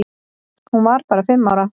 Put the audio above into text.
Hún var bara fimm ára.